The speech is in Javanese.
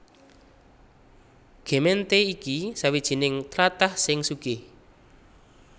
Gemeente iki sawijining tlatah sing sugih